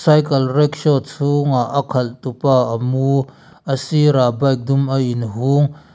rickshaw chhungah a khalh tu pa a mu a sir ah bike dum a in hung.